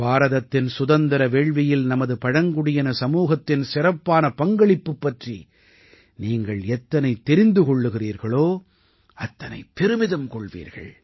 பாரதத்தின் சுதந்திர வேள்வியில் நமது பழங்குடியின சமூகத்தின் சிறப்பான பங்களிப்பு பற்றி நீங்கள் எத்தனை தெரிந்து கொள்கிறீர்களோ அத்தனை பெருமிதம் கொள்வீர்கள்